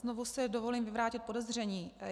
Znovu si dovolím vyvrátit podezření.